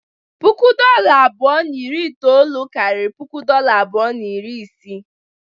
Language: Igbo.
puku dolla abụọ na iri itoolu karịrị puku dolla abụọ na iri isii.